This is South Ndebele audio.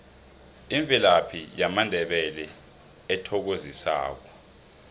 imvelaphi yamandebele ethokozisako